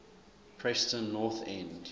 preston north end